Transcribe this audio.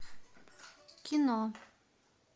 кино